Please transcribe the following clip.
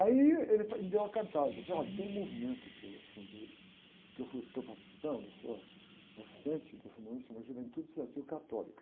Aí ele, me deu uma cantada, disse, olha, tem um movimento que eu fundei, que eu, estou participando, sou o assistente desse movimento se chama Juventude Estudantil Católica.